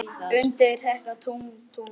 undir þetta tungl, tungl.